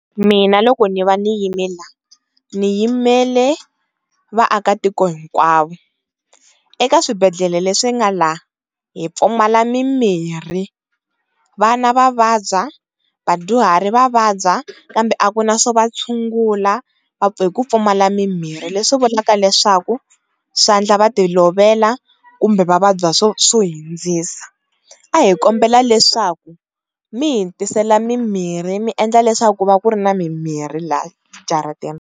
Mina loko ni va ni yime la ni yimele vaakatiko hinkwavo eka swibedhlele leswi nga la hi pfumala mimiri vana va vabya, vadyuhari va vabya kambe a ku na swo va tshungula hi ku pfumala mimirhi leswi vulaka leswaku swa ndla va ti lovela kumbe va vabya swo hindzisa a hi kombela leswaku mi hitisela mimirhi miendla leswaku ku va ku ri ni mimirhi lahaya jaratini.